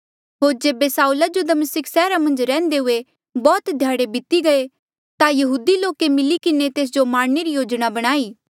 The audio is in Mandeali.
होर जेबे साऊला जो दमिस्का सैहरा मन्झ रैहंदे हुए बौह्त ध्याड़े बीती गये ता यहूदी लोके मिली किन्हें तेस जो मारणे री योजना बणाई